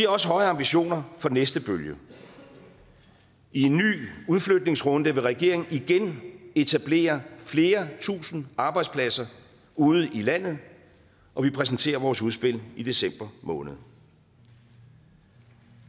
også høje ambitioner for den næste bølge i en ny udflytningsrunde vil regeringen igen etablere flere tusinde arbejdspladser ude i landet og vi præsenterer vores udspil i december måned